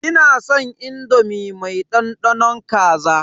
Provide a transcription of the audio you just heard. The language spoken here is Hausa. Ina san indomi mai dandanon kaza.